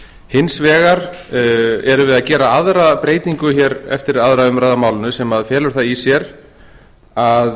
hins vegar erum við að gera aðra breytingu hér eftir aðra umræðu á málinu sem felur það í sér að